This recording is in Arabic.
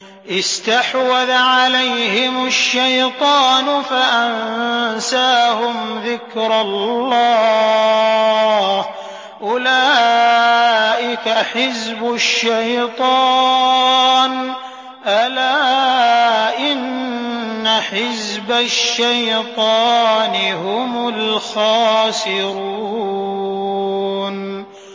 اسْتَحْوَذَ عَلَيْهِمُ الشَّيْطَانُ فَأَنسَاهُمْ ذِكْرَ اللَّهِ ۚ أُولَٰئِكَ حِزْبُ الشَّيْطَانِ ۚ أَلَا إِنَّ حِزْبَ الشَّيْطَانِ هُمُ الْخَاسِرُونَ